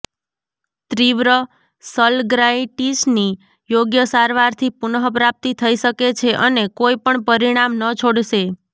તીવ્ર સલગ્નાઇટિસની યોગ્ય સારવારથી પુનઃપ્રાપ્તિ થઈ શકે છે અને કોઈ પણ પરિણામ ન છોડશે